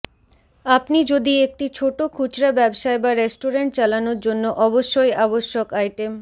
আপনি যদি একটি ছোট খুচরা ব্যবসায় বা রেস্টুরেন্ট চালানোর জন্য অবশ্যই আবশ্যক আইটেম